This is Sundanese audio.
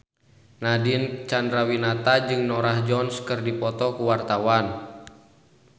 Nadine Chandrawinata jeung Norah Jones keur dipoto ku wartawan